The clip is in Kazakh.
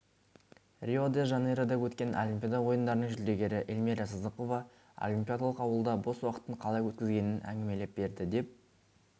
рио-де-жанейрода өткен олимпиада ойындарының жүлдегері эльмира сыздықова олимпиадалық ауылда бос уақытын қалай өткізгенін әңгімелеп берді деп